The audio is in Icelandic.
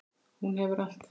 Hún hefur allt.